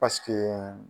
Paseke